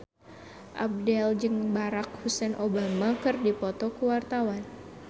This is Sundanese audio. Abdel jeung Barack Hussein Obama keur dipoto ku wartawan